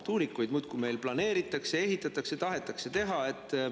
Tuulikuid meil muudkui planeeritakse ja ehitatakse, neid tahetakse teha.